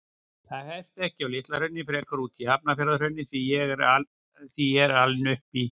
Það hefst ekki á Litla-Hrauni, frekar úti í Hafnarfjarðarhrauni, því ég er alinn upp í